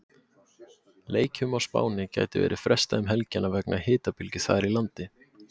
Leikjum á Spáni gæti verið frestað um helgina vegna hitabylgju þar í landi.